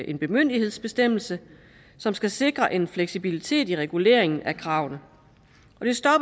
en bemyndigelsesbestemmelse som skal sikre en fleksibilitet i reguleringen af kravene